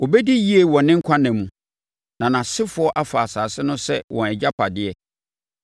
Ɔbɛdi yie wɔ ne nkwa nna mu, na nʼasefoɔ afa asase no sɛ wɔn agyapadeɛ.